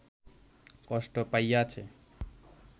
কষ্ট পাইয়াছে